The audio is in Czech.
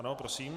Ano, prosím.